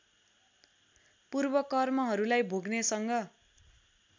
पूर्व कर्महरूलाई भोग्नेसँग